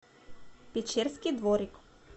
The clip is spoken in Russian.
печерский дворик